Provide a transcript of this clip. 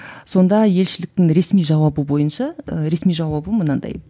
сонда елшіліктің ресми жауабы бойынша ресми жауабы мынандай